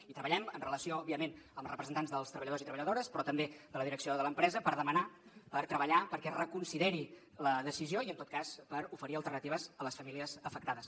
i treballem en relació òbviament amb els representants dels treballadors i treballadores però també de la direcció de l’empresa per demanar per treballar perquè es reconsideri la decisió i en tot cas per oferir alternatives a les famílies afectades